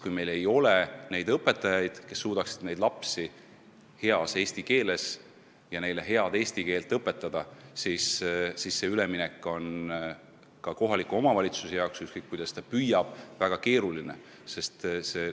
Kui meil ei ole õpetajaid, kes suudavad vene lapsi heas eesti keeles ja neile head eesti keelt õpetada, siis see üleminek on ka kohaliku omavalitsuse jaoks, ükskõik kuidas ta ka ei püüa, väga keeruline.